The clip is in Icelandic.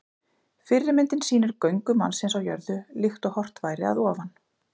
Fyrri myndin sýnir göngu mannsins á jörðu, líkt og horft væri að ofan.